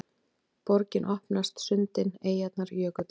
Borgin opnast: sundin, eyjarnar, jökullinn